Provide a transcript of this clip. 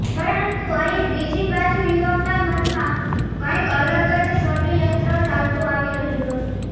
પરંતુ અહીં બીજી બાજુ યુવક ના મનમાં કંઈક અલગ જ સડયંત્ર ચાલતું આવી રહ્યું હતું